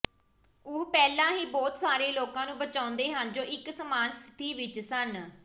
ਉਹ ਪਹਿਲਾਂ ਹੀ ਬਹੁਤ ਸਾਰੇ ਲੋਕਾਂ ਨੂੰ ਬਚਾਉਂਦੇ ਹਨ ਜੋ ਇਕ ਸਮਾਨ ਸਥਿਤੀ ਵਿਚ ਸਨ